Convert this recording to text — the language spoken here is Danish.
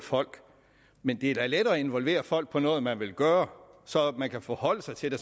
folk men det er da let at involvere folk i noget man vil gøre så de kan forholde sig til det